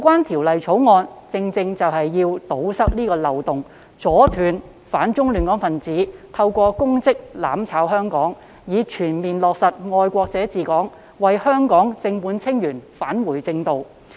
《條例草案》的目的，正正是為了堵塞漏洞、阻斷"反中亂港"分子透過公職"攬炒"香港，以全面落實"愛國者治港"，讓香港正本清源，返回正道。